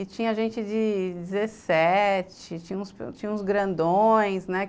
E tinha gente de dezessete, tinha uns grandões, né?